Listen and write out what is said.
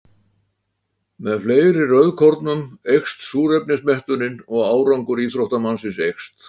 Með fleiri rauðkornum eykst súrefnismettunin og árangur íþróttamannsins eykst.